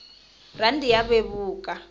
rhandi ya vevuka